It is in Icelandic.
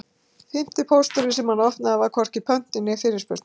Fimmti pósturinn sem hann opnaði var hvorki pöntun né fyrirspurn.